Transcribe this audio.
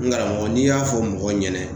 N karamɔgɔ n'i y'a fɔ mɔgɔw ɲɛna